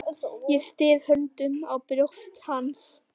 Og ég styð höndunum á brjóst hans.